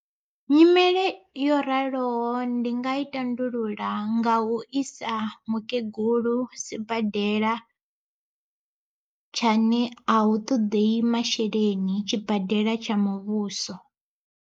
Nyimele yo raloho ndi nga i tandulula nga u isa mukegulu sibadela tsha ne a hu ṱoḓei masheleni tshibadela tsha muvhuso.